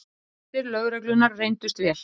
Heimildir lögreglunnar reyndust vel